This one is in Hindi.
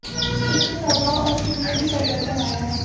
उनके स्वभाव और चित में भी परिवर्तन आया है